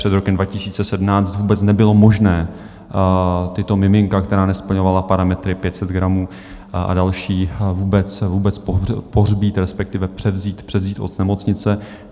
Před rokem 2017 vůbec nebylo možné tato miminka, která nesplňovala parametry 500 gramů a další, vůbec pohřbít, respektive převzít od nemocnice.